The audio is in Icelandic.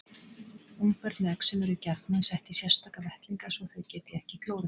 Ungbörn með exem eru gjarnan sett í sérstaka vettlinga svo þau geti ekki klórað sér.